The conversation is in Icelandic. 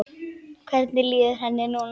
Hvernig líður henni núna?